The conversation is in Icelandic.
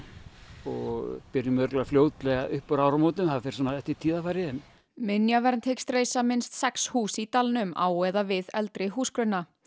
og byrjum örugglega fljótlega upp úr áramótum það fer svona eftir tíðarfari minjavernd hyggst reisa minnst sex hús í dalnum á eða við eldri húsgrunna